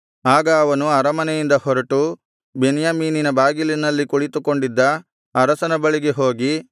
ಆಗ ಅವನು ಅರಮನೆಯಿಂದ ಹೊರಟು ಬೆನ್ಯಾಮೀನಿನ ಬಾಗಿಲಿನಲ್ಲಿ ಕುಳಿತುಕೊಂಡಿದ್ದ ಅರಸನ ಬಳಿಗೆ ಹೋಗಿ